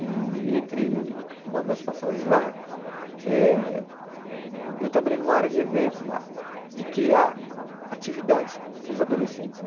E entre uma das passagens lá, eh eu trabalhei numa área de eventos lá, de criar atividades para os adolescentes, né?